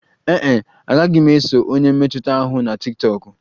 Ee e, agaghị m eso onye mmetụta ahụ na tiktokụ